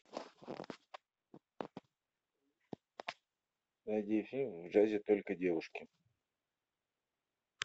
найди фильм в джазе только девушки